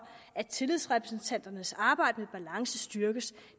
at tillidsrepræsentanternes arbejde med balance styrkes